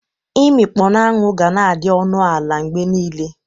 Imikpo n'anwụ ga-na adị ọnụ ala mgbe niile.